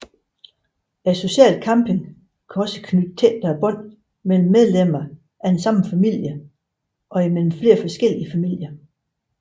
Social camping kan også knytte tættere bånd mellem medlemmer af den samme familie og imellem flere forskellige familier